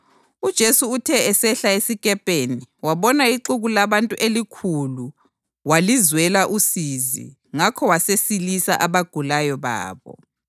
UJesu uthe esehla esikepeni wabona ixuku labantu elikhulu walizwela usizi ngakho wasesilisa abagulayo babo.